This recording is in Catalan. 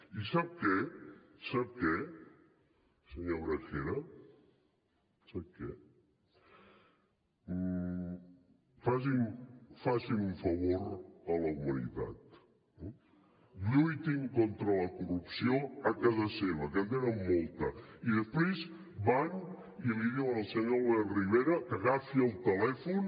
i sap què senyor gragera sap què facin un favor a la humanitat lluitin contra la corrupció a casa seva que en tenen molta i després van i li diuen al senyor albert rivera que agafi el telèfon